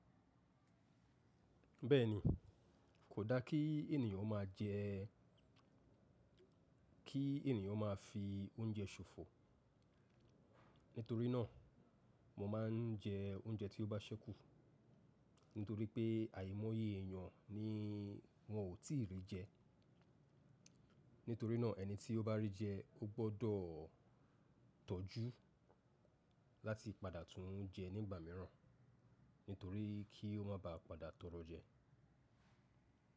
Bẹ́ẹ̀ni, kò da kí ènìyàn máa jẹ, kí ènìyàn máa fi oúnjẹ ṣòfò. Nítorí náà, mo máa ń jẹ oúnjẹ tí ó bá ṣẹ́kù. Nítorí pé àìmọye èèyàn ni wọ́n ò tíì rí jẹ. Nítorí náà ẹni tí ó bá rí jẹ, ó gbọ́dọ̀ tọ́jú láti padà tún jẹ nígbà mìíràn, nítorí kí ó má baà padà tọrọ jẹ.